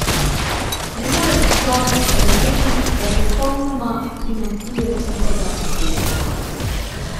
Ne more pa človek sprejeti, da popolnoma primanjkuje čuta za estetiko.